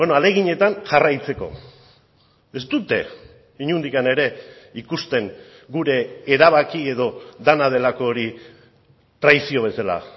ahaleginetan jarraitzeko ez dute inondik ere ikusten gure erabaki edo dena delako hori traizio bezala